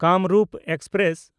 Kamrup express